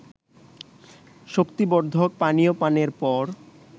শক্তিবর্ধক পানীয় পানের পর